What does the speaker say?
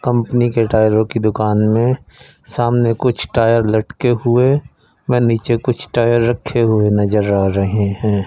Company के टायरों की दुकान में सामने कुछ टायर लटके हुए में नीचे कुछ टायर रखे हुए नजर आ रहे हैं।